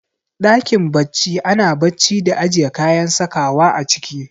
Ɗakin bacci ana bacci da ajiye kayan sakawa a ciki